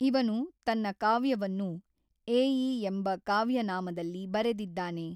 ಇವನು ತನ್ನ ಕಾವ್ಯವನ್ನು ಏಈ ಎಂಬ ಕಾವ್ಯ ನಾಮದಲ್ಲಿ ಬರೆದಿದ್ದಾನೆ.